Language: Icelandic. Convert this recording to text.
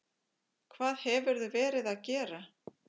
Hvað hefurðu verið að gera?